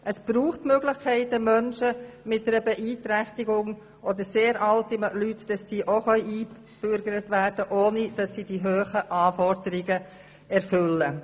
Es braucht Möglichkeiten, damit Menschen mit einer Beeinträchtigung oder sehr alte Leute auch eingebürgert werden können, ohne dass sie die sehr hohen Anforderungen erfüllen.